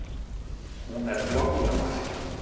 Hún er þvoglumælt.